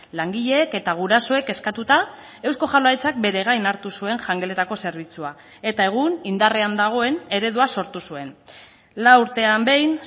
langileek eta gurasoek eskatuta eusko jaurlaritzak bere gain hartu zuen jangeletako zerbitzua eta egun indarrean dagoen eredua sortu zuen lau urtean behin